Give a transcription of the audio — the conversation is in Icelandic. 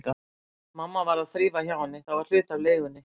Mamma varð að þrífa hjá henni, það var hluti af leigunni.